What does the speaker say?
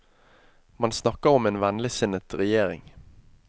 Man snakker om en vennligsinnet regjering.